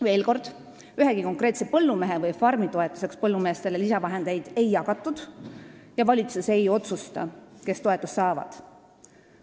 Veel kord, ühegi konkreetse põllumehe või farmi toetuseks lisavahendeid ei jagatud ja valitsus ei otsusta, kes toetust saavad.